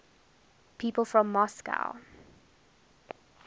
people from moscow